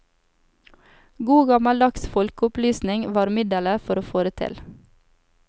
God gammeldags folkeopplysning var middelet for å få det til.